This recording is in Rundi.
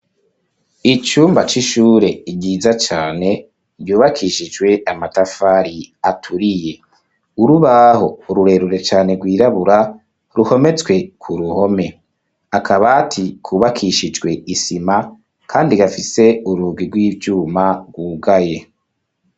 Icumba c'ishure, ryiza cane, ryubakishijwe amatafari aturiye; urubaho rurerure cane, rwirabura, ruhometswe ku ruhome, akabati, kubakishijwe isima, kandi gafise urugi, rw'ivyuma, rwugaye.